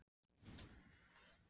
Hvernig er stemningin hjá Fjölni?